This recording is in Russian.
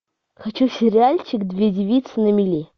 хочу сериальчик две девицы на мели